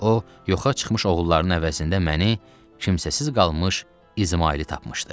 O yoxa çıxmış oğullarının əvəzində məni kimsəsiz qalmış İzmaili tapmışdı.